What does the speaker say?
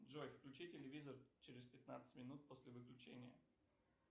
джой включи телевизор через пятнадцать минут после выключения